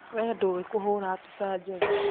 Wee ndũĩ kũhũra mbica njega